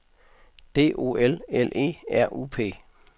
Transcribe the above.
D O L L E R U P